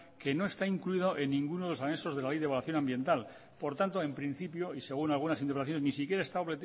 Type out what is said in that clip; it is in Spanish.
que no está incluido en ninguno de los anexos de la ley de evaluación ambiental por tanto en principio y según algunas interpelaciones ni siquiera está